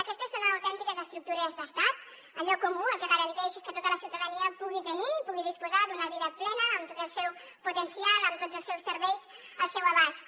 aquestes són autèntiques estructures d’estat allò comú el que garanteix que tota la ciutadania pugui tenir i pugui disposar d’una vida plena amb tot el seu potencial amb tots els seus serveis al seu abast